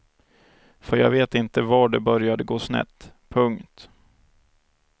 För jag vet inte var det började gå snett. punkt